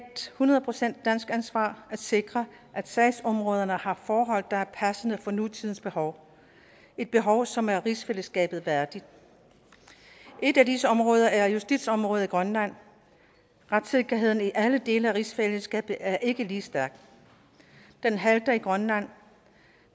hundrede procent dansk ansvar at sikre at sagsområderne har forhold der er passende for nutidens behov et behov som er rigsfællesskabet værdigt et af disse områder er justitsområdet i grønland retssikkerheden i alle dele af rigsfællesskabet er ikke lige stærkt den halter i grønland